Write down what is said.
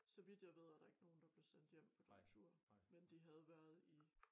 Så vidt jeg ved er der ikke nogen der blev sendt hjem på den tur en de havde været i